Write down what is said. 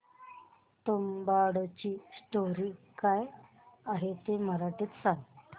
तुंबाडची स्टोरी काय आहे ते मराठीत सांग